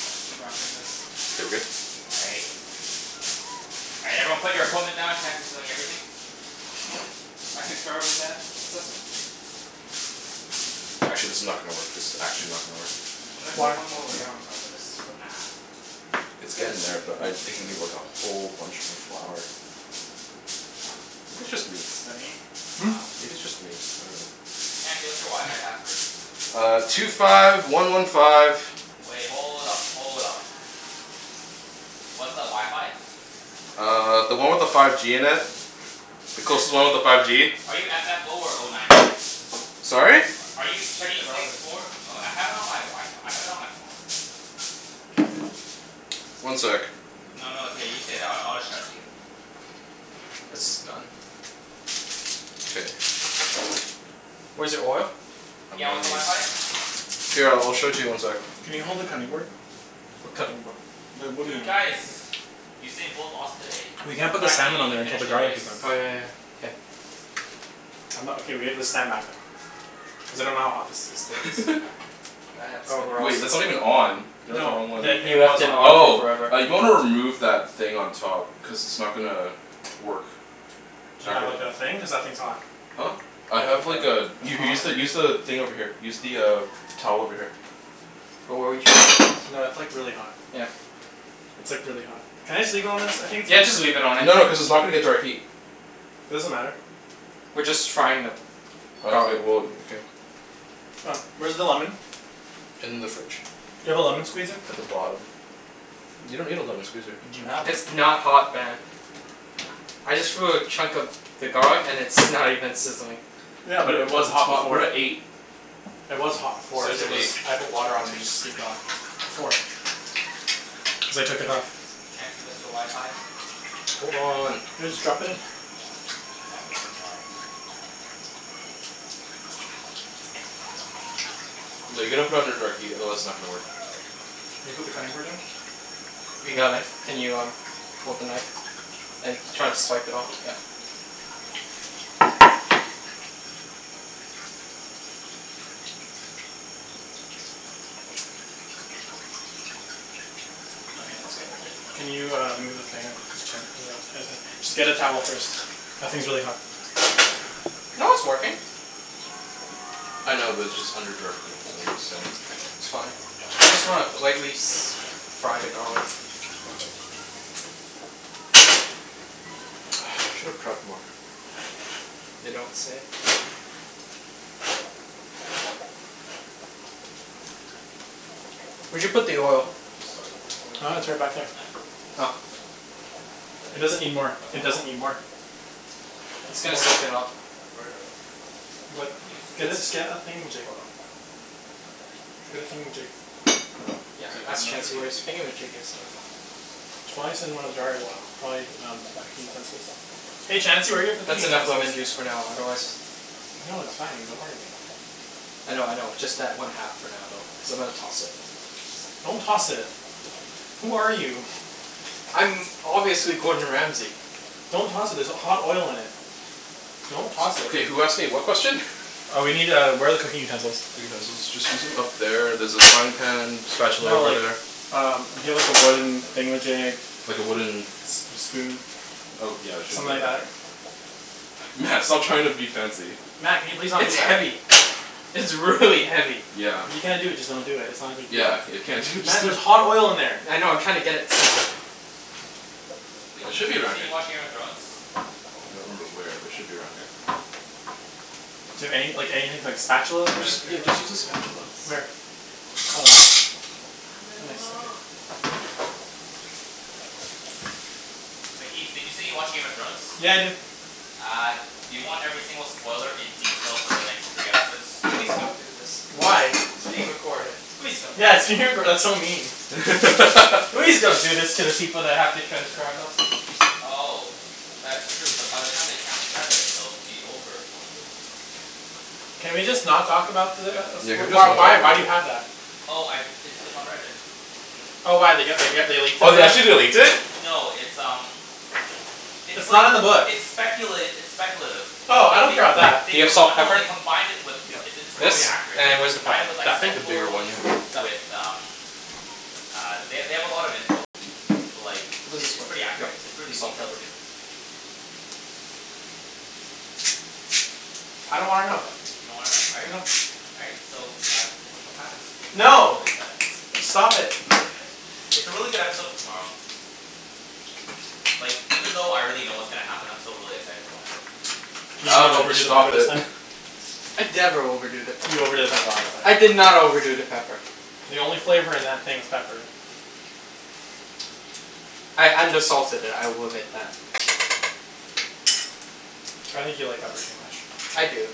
Back to wrapping this. K, we're good? All right. All right, everyone put your equipment down. Chancey's doing everything. I concur with that assessment. Actually, this is not gonna work. This is actually not gonna work. Should I put Why? one more layer on top of this for Nah. It's It's gonna getting there, seep but through, I for think sure, we need but like a whatever. whole bunch more flour. Maybe it's just me? Studying? Hmm? No. Maybe it's just me? I dunno. Chancey, what's your wi-fi password? Uh, two five one one five Wait, hold up. Hold up. What's the wi-fi? Uh, the one with the five G in it. The There's closest one two with the with five five G. G. Are you f f oh, or oh nine nine? Sorry? Are you Check the C router. six four Oh, I have it on my Wi- F- I have it on my phone. One sec. No, no, it's okay. You stay there. I I'll just shout to you. This is done. K. Where's your oil? I'm Yeah, gonna what's the need wi-fi? s- Here, I'll show it to you in one sec. Can you hold the Okay. cutting board? What cutting board? The wooden Dude, one. guys! Usain Bolt lost today. We can't In put the fact, he salmon didn't on even there until finish the the race. garlic is done. Oh yeah yeah. K. I'm not okay, we have to stand back though. Cuz I don't know how hot this this still is. Wait, That's that's gonna not even on. You're on the wrong No, one. He the, he it left was it on. on for Oh. forever. Uh, you might wanna remove that thing on top. Cuz it's not gonna work. Do you Not have gonna like, a thing? Cuz that thing's hot. Huh? I Do you have have like like a a a U- use tong? the use the thing over here. Use the uh towel over here. Wh- what were you No, it's like, really hot. Yeah. It's like, really hot. Can I just leave it on this? I think it's Yeah, just fine. leave it on it. No no, cuz it's not gonna get direct heat. Doesn't matter. We're just frying the Oh, okay. garlic. Well, okay. C'mon. Where's the lemon? In the fridge. Do you have a lemon squeezer? At the bottom. You don't need a lemon squeezer. Do you have one? It's not hot, Ben. I just threw a chunk of the garlic and it's not even sizzling. Yeah, But, but We're it at was cuz the it's hot top, hot, we're before. we're at at eight. eight. It was hot before. Set it It to was, eight. I put water on it and it just steamed off. Before. Cuz I took it off. Chancey, what's your wi-fi? Hold on. Yeah, just drop it in. Drop it like it's hot. No, you gotta put it under direct heat, otherwise it's not gonna work. Can you put the cutting board in? We And a got it. knife? Can you um hold the knife? And try to swipe it all, yeah. My hands got a bit Can you, uh, move the thing? Cuz Chan Just get a towel first. That thing's really hot. No, it's working. I know, but it's just under direct heat, so I'm just saying. It's fine. We just wanna lightly s- fry the garlic. I should have prepped more. You don't say. Where'd you put the oil? Are you just starting at this point? Oh right, it's right back there. Huh? Are you just Oh. starting at this point? I It could. doesn't need more. But It I'll doesn't help. need more. It's Oh, gonna soak it up. here, I'll write it out for you. But you can just say get it. a, just get a thingamajig. Hold on. Get a Here. thingamajig. Yeah, Cuz All right. like, I'm ask not sure if Chancey the where other his people need it. thingamajig Cuz is. I don't Oh. think Ibs Okay. has been over in a while. Try um some cooking utensils. Hey Chancey, where are your cooking That's enough lemon utensils? juice for now, otherwise No, it's fine. Don't worry about it. Thanks, I dude. know, I know. Just add one half for now though, cuz I'm gonna toss it. Don't toss it. Who are you? I'm obviously Gordon Ramsey. Don't toss it, there's h- hot oil in it. Don't toss it. Okay, who asked me what question? Uh we need uh, where are the cooking utensils? Utensils. Just use them, up there, there's a frying pan spatula No over like, there. um we need a wooden thingamajig. Like a wooden S- a spoon. Oh, yeah, should Something be right like that? here. Mat, stop trying to be fancy. Mat, can you please not do It's that? heavy. It's really heavy. Yeah. If you can't do it, just don't do it. It's not a big Yeah, deal. if you can't do it just Mat, d- there's hot oil in there. I know. I'm trying to get it centered. Wait, It Ibs, should did be you say around here. you watch Game of Thrones? I don't remember where, but it should be around here. Do you have any like, anything like spatula I'm gonna Just, maybe? drink yeah, my just use a cocoa in this spatula. peace. Where? Your cocoa in Oh, peace? that? I'm Oh in nice. Okay. love with the cocoa. But Ibs, did you say you watch Game of Thrones? Yeah, I do. Uh, do you want every single spoiler in detail for the next three episodes? Please don't do this. Why? It's being recorded. Please don't do this. Yes, you did, but that's so mean. Please don't do this to the people that have to transcribe us. Oh. That's true. But by the time they transcribe it it'll be over, won't it? Can we just not talk about the uh as- Yeah, can w- we just why not talk why do about you it? have that? Oh, I, it's it's on Reddit. Oh, why? They g- they g- they leaked it Oh, they already? actually, they leaked it? No, it's um it's It's like, not in the book. it's speculat- it's speculative. But Oh, I like, don't they care 'bout that. they Do you have combi- salt no, they pepper? combined it with Yep, It's it's right there. This? really accurate. Like, And they where's the There. combine pepper? it with like, That thing? set The bigger one, photos yeah. Got it. with um uh, they they have a lot of info. But like, How does it's this it's work? pretty Yep, accurate. It's preally salt pepper. detailed, too. I don't wanna know. What the You don't wanna know? All right. No. All right. So, uh, pretty much what happens in tomorrow No! is that Stop it. It's a really good episode in tomorrow. Like, even though I already know K. what's gonna happen, I'm still really excited to watch it. Can you not Alvin, overdo just the pepper stop this it. time? I never overdo the pepper. You overdid it last time. I did not overdo the pepper. The only flavor in that thing was pepper. I undersalted it. I will admit that. I think you like pepper too much. I do.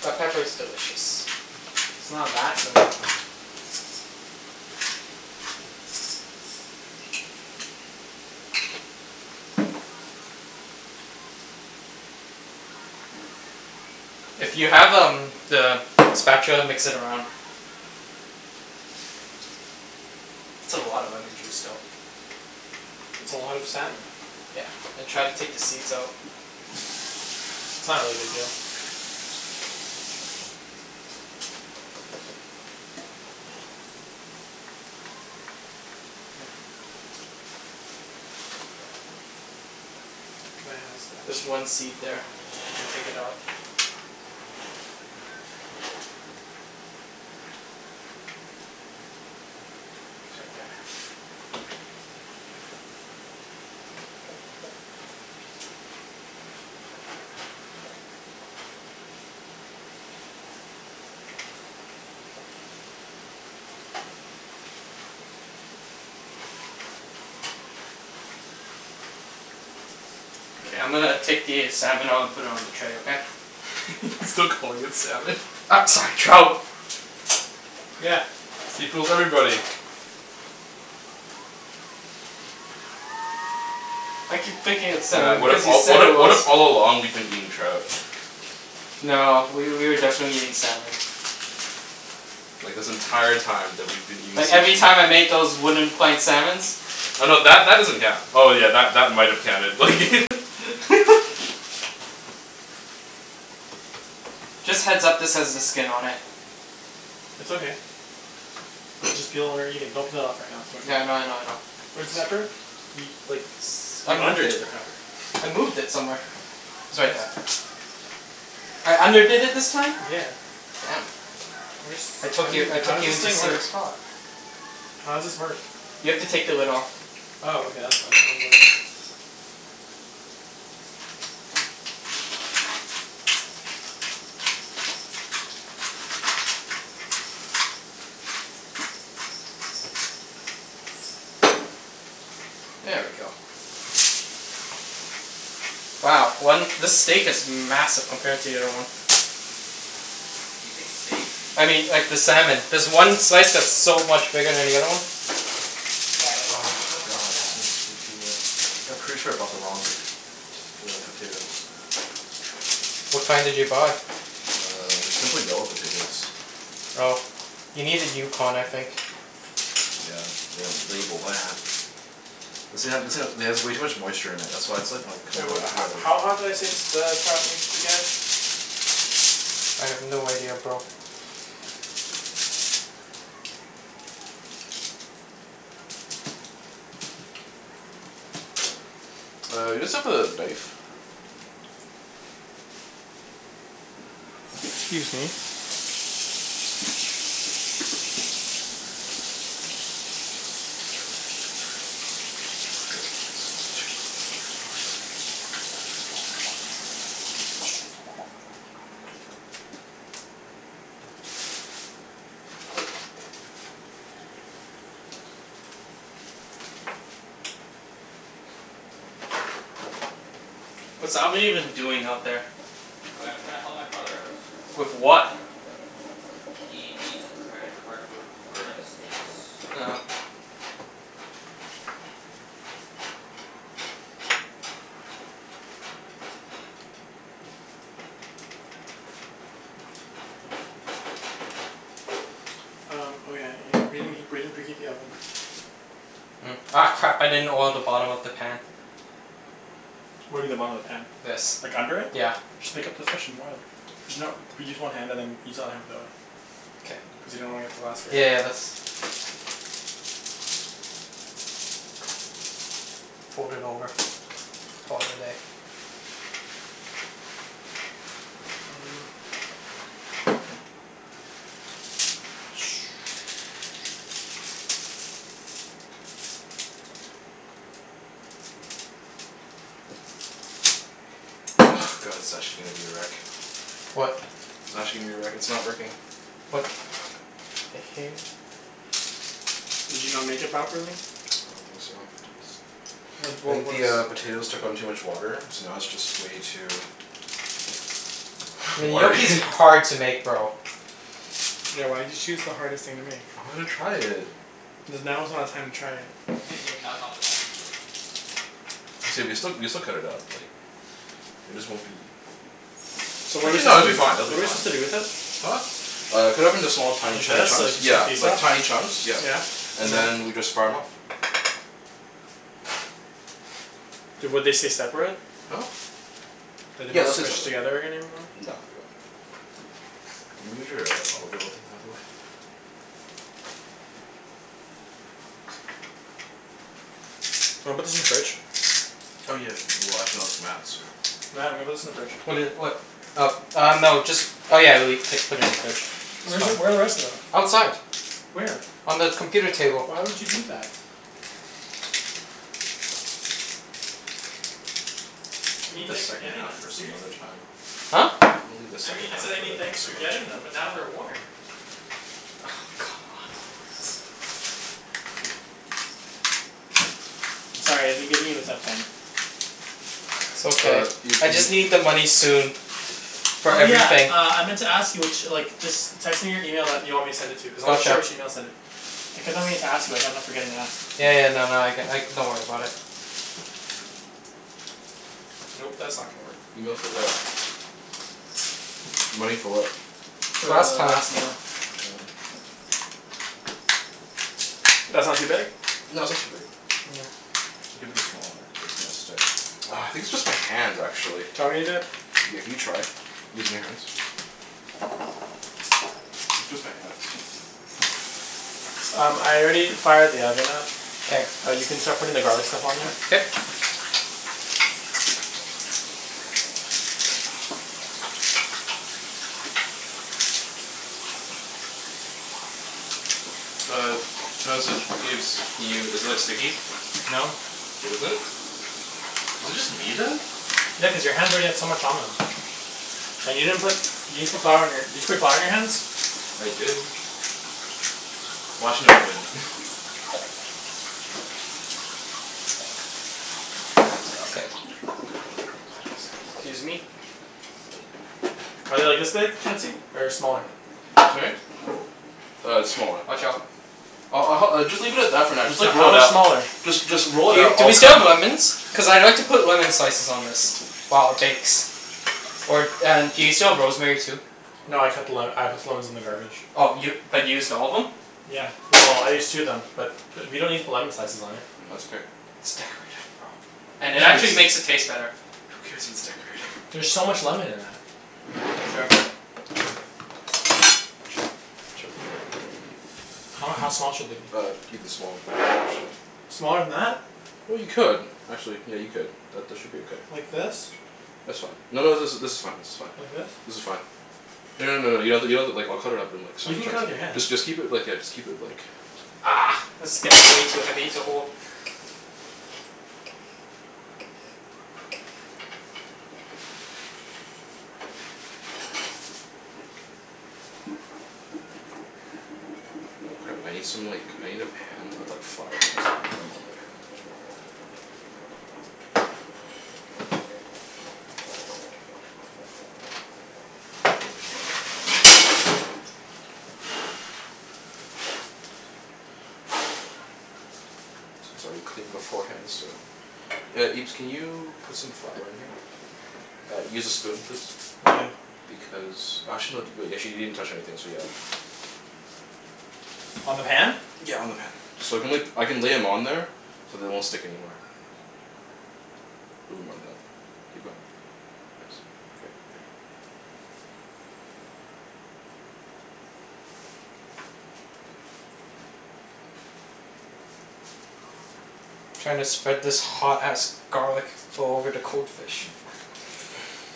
But pepper is delicious. It's not that good. If you have um the spatula mix it around. That's a lot of lemon juice though. It's a lot of salmon. Yeah, and try to take the seeds out. It's not really a big deal. Yeah. Here. Can I have a There's spatch? one seed there. If you could take it out. It's right there. K, I'm gonna take the salmon out and put it on the tray, okay? He's still calling it salmon. U- sorry, trout. Yeah. See? Fools everybody. I keep thinking it's Mat, salmon what if because you all, said what it i- what was. if all along we've been eating trout? No, w- we were definitely eating salmon. Like this entire time that we've been eating Like, every sushi time I made those wooden plank salmons. Oh no, that that doesn't count. Oh yeah, that that might have counted, like Just heads up, this has the skin on it. It's okay. We'll just peel when we're eating. Don't cut it off right now. It's too much work. Yeah, I know I know I know. Where's the pepper? You, like, S- s- I you moved underdid it. the pepper. I moved it somewhere. It's right there. I underdid it this time? Yeah. Damn. Where's, I how took do you- you, I took how's you this into thing work? serious thought. How's this work? You have to take the lid off. Oh, okay. That's why. I was like There we go. Wow. One, this steak is massive compared to the other one. Did you say steak? I mean, like, the salmon. There's one slice that's so much bigger than the other one. Yeah, but Oh, steak is so much more god, this filling. is way too wet. Yeah, pretty sure I bought the wrong po- t- t- uh, potatoes. What kind did you buy? Uh, they're simply yellow potatoes. Oh. You needed Yukon, I think. Yeah, they didn't label that. This thing ha- this thing ha- it has way too much moisture in it. That's why it's like, not Wait, coming what ho- together. how hot did I say the s- the trout needs to get? I have no idea, bro. Uh, you guys have the knife? Excuse me. Yep, this is way too What's Alvin even doing out there? Wait, I'm trying to help my brother out. With what? He needs a credit card for Uber in the States. Oh. Um, oh yeah. Y- we didn't he- we didn't preheat the oven. Hmm. Ah, crap. I didn't oil the bottom of the pan. What do you mean the bottom of the pan? This. Like, under it? Yeah. Just pick up the fish and oil it. There's no but use one hand and then use the other hand for the other one. K. Cuz you don't wanna get the Yeah yeah yeah, that's Fold it over. Call it a day. Mm. Ah, god it's actually gonna be a wreck. What? It's actually gonna be a wreck. It's not working. What? The hell. Did you not make it properly? I don't think so. It's What I wa- think the what's uh, potatoes took on too much water so now it's just way too I mean, watery. gnocchi's hard to make, bro. Yeah, why did you choose the hardest thing to make? I wanted to try it. Cuz now is not a time to try it. Yeah, now's not the time to try it. It's gonna be still, we can still cut it up, like It just won't be So what are su- Actually no, it'll be do, fine. It'll what be are we fine. supposed to do with it? Huh? Uh, cut it up into small, tiny Like chu- this? So chunks. as to get the Yeah, piece like off? tiny chunks, yeah. Yeah. And And then? then we just fire 'em off. Would they stay separate? Huh? Are they Yeah, not they'll stay squished separate. together any- anymore? No, they won't. Can you move your uh olive oil thing out of the way? Wanna put this in the fridge? Oh yeah. Well, actually no, it's Mat's, so Mat, I'm gonna put this in the fridge. What i- what? Uh uh, no. Just Oh yeah, le- c- put it in the fridge. It's Where is, fine. where are the rest of them? Outside. Where? On the computer table. Why would you do that? I mean Leave the thanks for second getting half them, but for some other seriously. time. Huh? I'm gonna leave the I mean, second I half said I mean thanks for for some other getting time. them but now they're warm. Oh, God. come on. I'm sorry. I've been giving you a tough time. It's okay. Uh, you I just need the money soon. For Oh yeah, everything. uh, I meant to ask you ch- like just text me your email that you want me to send it to, cuz I wasn't sure Gotcha. which email to send it. I kept on meaning to ask you but I kept on forgetting to ask. Yeah yeah, no no, I c- like, don't worry about it. Nope. That's not gonna work. Email for what? Money for what? For the Last time. last meal. Mm. That's not too big? No, that's not too big. You can make it smaller. It's gonna stick. Ah, I think it's just my hands, actually. Do you want me to do it? Yeah, can you try? Using your hands? Maybe just my hands. Um, I already fired the oven up. K. Uh, you can start putting the garlic stuff on there. K. Uh how's it, Ibs? Can you, is it like sticky? No. It isn't? Is it just me, then? Yeah, cuz your hands already had so much on them. And you didn't put, you didn't put flour on your Did you put flour on your hands? I did. Well, actually I've been K. Excuse me. Are they like this big, Chancey? Or smaller? Sorry? Uh, smaller. Watch out. I'll I'll hel- just leave it at that for now. Just So, like, roll how it much out. smaller? Just just roll Do it y- out. do I'll we cut still 'em have up. lemons? Cuz I'd like to put lemon slices on this. While it bakes. Or and do you still have rosemary, too? That's No, I cut the le- better. I put the lemons in the garbage. Oh, y- but you used all of them? Yeah. Well, I used two of them. But we don't need to put lemon slices on it. That's okay. It's decorative, bro. And it Yeah, I actually It's just makes it taste better. Who cares if it's decorated? There's so much lemon in that. Sure. Watch Chop. out. Chop. How how small should they be? Uh, even smaller than that actually. Smaller than that? Well, you could. Actually, yeah, you could. That that should be okay. Like this? That's fine. No no, this is this is fine, this is Like fine. this? This is fine. No no no no, you have to, you don't have to like, I'll cut it up in like You tiny can cut it with your chunks. hand. Just just keep it like, yeah, just keep it like Argh! This is getting way too heavy to hold. Oh crap. I need some like, I need a pan with like flour in it so I can put 'em on the pan. Since I already cleaned beforehand, so Yeah, Ibs, can you put some flour in here? Uh, use a spoon please. Why? Because, actually no, d- wait, you actually didn't touch anything, so yeah. On the pan? Yeah, on the pan. So I can la- I can lay 'em on there so they won't stick anymore. Little more than that. Keep going. Thanks. K, we're good. Trying to spread this hot ass garlic all over the cold fish.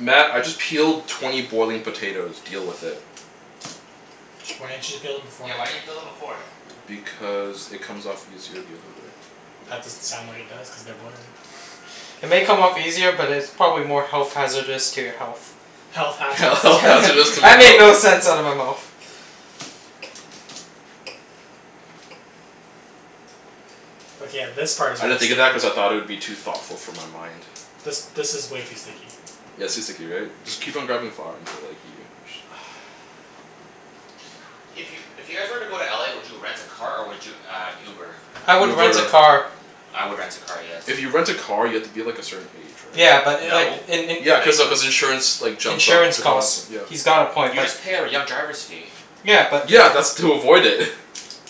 Mat, I just peeled twenty boiling potatoes. Deal with it. Why didn't you just peel them Yeah, why beforehand? didn't you peel them before? Because it comes off easier the other way. That doesn't sound like it does, cuz they're boiling. It may come off easier, but it's probably more health hazardous to your health. Health Health hazardous to hazardous to my That made health. no sense out of my mouth. Okay, yeah, this part I didn't think of that cuz I thought it would be too thoughtful for my mind. This this is way too sticky. Yeah, it's too sticky, right? Just keep on grabbing flour until like, you Hey, if you if you guys were to go to LA, would you rent a car or would you uh Uber? I would rent a Uber. car. I would rent a car, yes. If you rent a car, you have to be like, a certain age, right? Yeah, but like No. in in Yeah, cuz of, cuz insurance like, jumps up insurance the cost, costs. yeah. He's got a point, You but just pay a r- young driver's fee. Yeah, but if Yeah, that's to avoid it.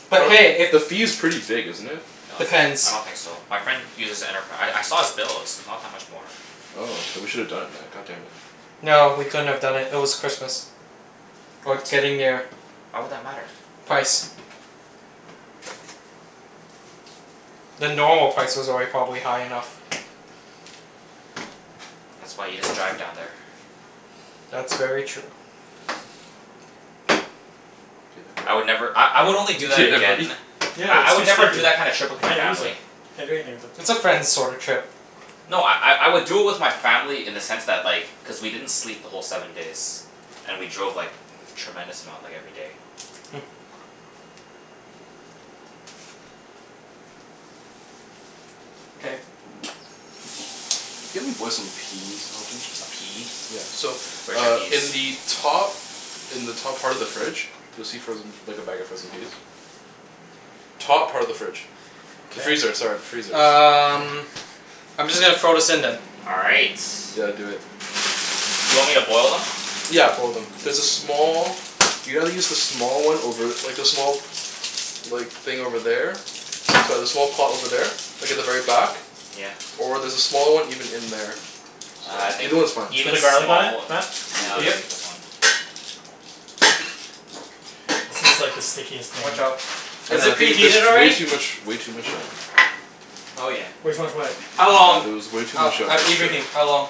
But But hey, if the fee's pretty big, isn't it? No, it's not. I Depends. don't think so. My friend uses Enterpri- I I saw his bills. Not that much more. Oh, then we should have done it Mat, god damn it. No, we couldn't have done it. It was Christmas. Or What? getting there. Why would that matter? Price. The normal price was already probably high enough. That's why you just drive down there. That's very true. I would never, I I would only do You that okay there, buddy? again Yeah, I I they're would too never do sticky. that kind of I trip with my can't use family. it. Can't do anything with it. It's a friends sorta Yeah. trip. No, I I I would do it with my family in the sense that, like cuz we didn't sleep the whole seven days. And we drove like, tremendous amount like, every day. Hmm. K. Can you help me boil some peas, Alvin? A pea? Yeah. So, Where's your uh in peas? the top in the top part of the fridge you'll see frozen like, a bag of frozen peas. Top part of the fridge. The freezer, sorry. The freezer, K. sorry. Um Freezer. I'm just gonna throw this in then. All right. Yeah, do it. Do you want me to boil them? Yeah, boil them. There's a small, you gotta use the small one over, like the small like, thing over there. Sorry, the small pot over there. Like at the very back. Yeah. Or there's a small one even in there. Ah, I think Either one's fine. Did you put even the garlic on small w- it, Mat? No, Yeah, I'll buddy. just Yep. use this one. This is like the stickiest thing. Watch out. I Is know, I it think there's preheated way already? too much, way too much, um Oh yeah. Yeah. Way too much what? How Uh, long? there was way too Oh, much uh uh, moisture. Ibrahim? How long?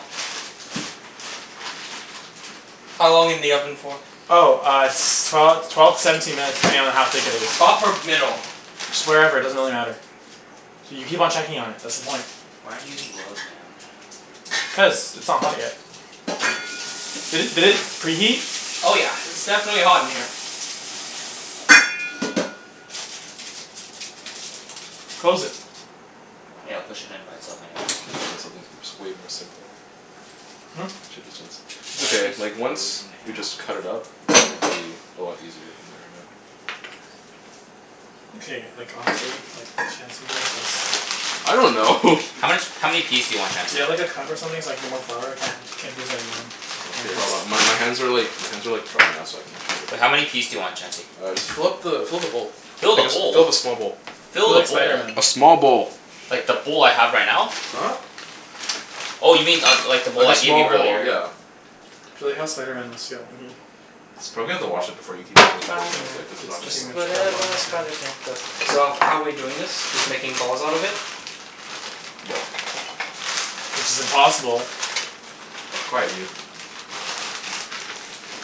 How long in the oven for? Oh, uh s- twelve twelve to seventeen minutes depending on how thick it is. Top or middle? Just wherever. It doesn't really matter. So you keep on checking on it. That's the point. Why aren't you using gloves, man? Cuz it's not hot yet. Did it did it preheat? Oh yeah. It's definitely hot in here. Close it. Yeah, I'll push it in by itself anyways. I just should of done something that's way more simpler. Hmm? Should just done som- It's Why are okay. these Like, once frozen we just cut it up, it's gonna be a lot easier from there on out. Okay, like, honestly like, Chancey. What is this? I don't know. How much, how many peas do you want, Do you Chancey? have like a cup or something so I can get more flour? I can't can't do this anymore. Okay, hold on. My my hands are like, my hands are like dry now so I can Wait, how actually many peas do you want, Chancey? Uh, just fill up the fill up the bowl. Fill the I guess fill bowl? the small bowl. I feel Fill the like bowl? Spider Man. A small bowl. Like, the bowl I have right now? Huh? Oh, you mean uh like the Like bowl I a gave small you bowl, earlier? yeah. I feel like how Spider Man must feel. Probably have Spider to wash Man. it before you keep on working Spider with Man. it, cuz it's not It's gonna Just too much work. on whatever a his hand. spider pan does. So, how we doing this? Just making balls out of it? Yep. Which is impossible. Quiet, you.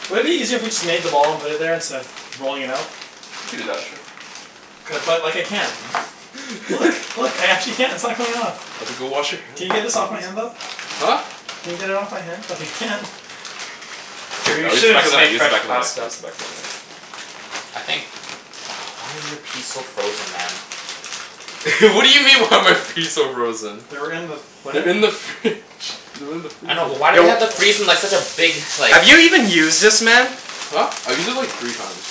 Wouldn't it be easier if we just made them all and put it there, instead of rolling it out? You could do that, sure. Cuz like, I can't. Look, look. I actually can't. It's not coming off. Okay, go wash your hand, Can you get jeez. this off my hand, though? Huh? Can you get it off my hand, cuz I can't? Here, We I'll use the should have back of just the made knife, use the fresh back of the knife, pasta. use the back of the knife. I think why are your peas so frozen, man? What do you mean, why are my fees so frozen? They were in with what? They're in the fridge. They're in the I freezer. know, but why do they Yo have to freeze them like such a big, like Have you even used this, man? Huh? I've used it like, three times.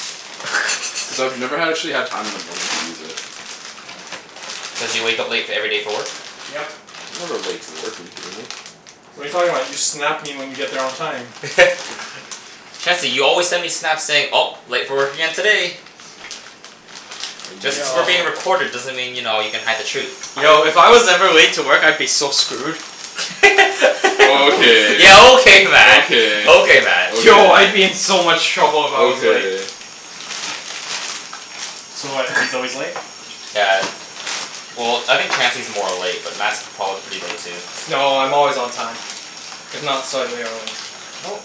Cuz I've never ha- actually had time in the morning to use it. Cuz you wake up late f- every day for work? Yep. I'm never late for work. Are you kidding me? What are you talking about? You Snap me when you get there on time. Chancey, you always send me Snaps saying, "Oh, late for work again today." Are Just you cuz we're Yo. being recorded doesn't mean, you know, you can hide the truth. Yo, if I was ever late to work I'd be so screwed. Okay. Yeah, okay Mat! Okay, Okay Mat. Yo, I'd be okay. in so much trouble if I was late. Okay. So what, he's always late? Yeah. Well, I think Chancey's more late, but Mat's prob- pretty late too. No, I'm always on time. If not slightly early. No.